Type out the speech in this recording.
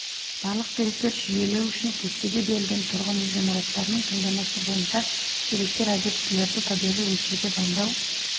барлық деректер жүйелеу үшін кестеде берілген тұрғын үй ғимараттарының таңдамасы бойынша деректер объектілерді табиғи өлшеуге дайындау